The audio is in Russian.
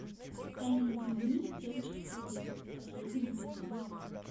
тайный дневник девушки по вызову последний эпизод